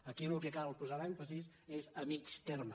aquí en el que cal posar l’èmfasi és a mitjà termini